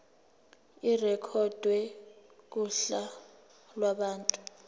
irekhodwe kuhla lwabantu